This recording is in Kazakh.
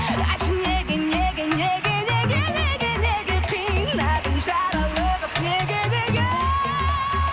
айтшы неге неге неге неге неге неге қинадың жаралы қып неге неге